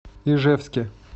ижевске